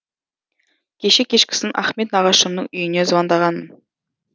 кеше кешкісін ахмет нағашымның үйіне звондағанмын